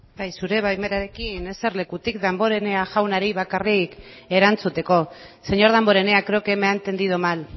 bai zure baimenarekin eserlekutik damborenea jaunari bakarrik erantzuteko señor damborenea creo que me ha entendido mal